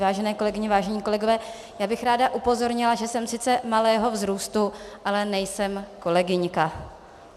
Vážené kolegyně, vážení kolegové, já bych ráda upozornila, že jsem sice malého vzrůstu, ale nejsem kolegyňka.